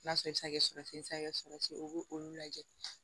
N'a sɔrɔ i bɛ se ka kɛ si saga ye o b'o olu lajɛ